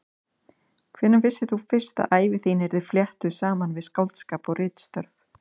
Hvenær vissir þú fyrst að ævi þín yrði fléttuð saman við skáldskap og ritstörf?